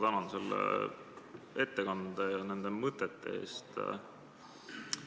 Tänan selle ettekande ja nende mõtete eest!